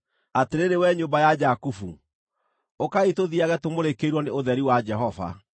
Atĩrĩrĩ wee nyũmba ya Jakubu, ũkaai tũthiiage tũmũrĩkĩirwo nĩ ũtheri wa Jehova.